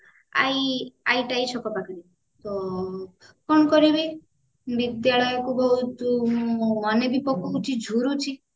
ଛକ ପାଖରେ ତ କଣ କରିବି ବିଦ୍ୟାଳୟକୁ ବହୁତ ମନେ ବି ପକଉଛି ଝୁରୁଛି